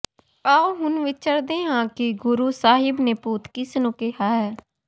ਆਓ ਹੁਣ ਵਿਚਰਦੇ ਹਾਂ ਕਿ ਗੁਰੂ ਸਾਹਿਬ ਨੇ ਭੂਤ ਕਿਸਨੂੰ ਕਿਹਾ ਹੈ